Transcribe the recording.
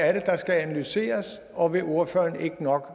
er det der skal analyseres og vil ordføreren ikke nok